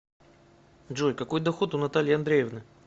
джой какой доход у натальи андреевны